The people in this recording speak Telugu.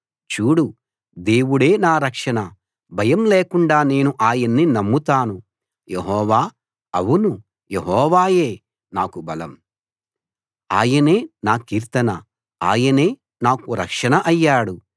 చూడు దేవుడే నా రక్షణ భయం లేకుండా నేను ఆయన్ని నమ్ముతాను యెహోవా అవును యెహోవాయే నాకు బలం ఆయనే నా కీర్తన ఆయనే నాకు రక్షణ అయ్యాడు